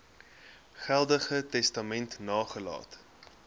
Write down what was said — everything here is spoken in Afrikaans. geldige testament nagelaat